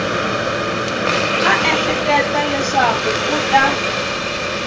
a ehleketa leswaku u ta